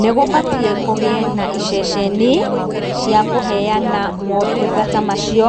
Nĩgũbatiĩ kũgĩe na iceceni, cia kũheyana motungata macio